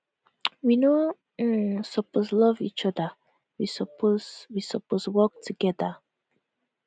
we no um suppose love each oda we suppose we suppose work togeda